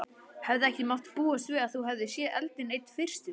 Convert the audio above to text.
Hefði ekki mátt búast við að þú hefðir séð eldinn einna fyrstur?